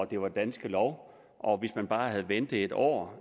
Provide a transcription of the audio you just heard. det var danske lov og at hvis man bare havde ventet en år